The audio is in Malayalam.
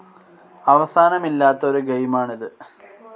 അവസാനമില്ലാത്ത ഒരു ഗെയിമാണ് ഇത്.